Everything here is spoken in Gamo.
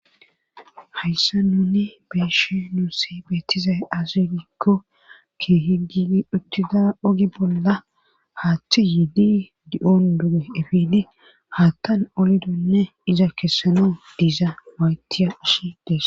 hayssa nuni be'she nuusi beettizay asu giikko keehi gii uttida ogi bolla haaththe yidi di7on duge efidi hattan olidonne iza kessanaw diiza maytiya ish des